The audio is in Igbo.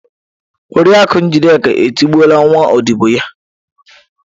Oriakụ Njideka etigbuola nwa ọdibo ya.